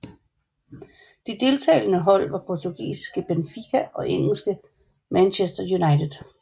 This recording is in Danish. De deltagende hold var portugisiske Benfica og engelsk Manchester United